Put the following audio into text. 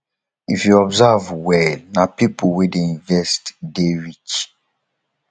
if you observe well na pipo wey dey invest dey rich